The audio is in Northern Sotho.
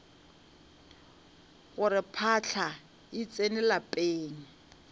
gore phahla e tsene lapeng